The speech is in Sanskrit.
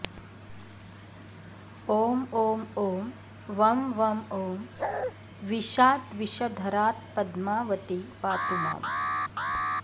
ॐ ॐ ॐ वं वं ॐ विषाद्विषधरात्पद्मावती पातुमाम्